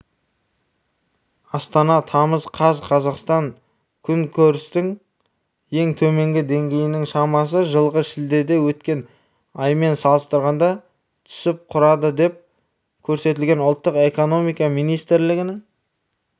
астана тамыз қаз қазақстанда күнкөрістің ең төменгі деңгейінің шамасы жылғы шілдеде өткен аймен салыстырғанда түсіп құрады деп көрсетілген ұлттық экономика министрлігінің